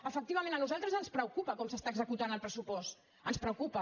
efectivament a nosaltres ens preocupa com s’està executant el pres·supost ens preocupa